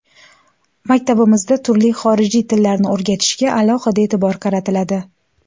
Maktabimizda turli xorijiy tillarni o‘rgatishga alohida e’tibor qaratiladi.